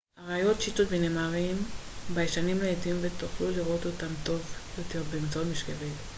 אריות צ'יטות ונמרים ביישנים לעתים ותוכלו לראות אותם טוב יותר באמצעות משקפת